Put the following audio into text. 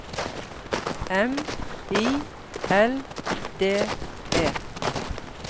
M I L D E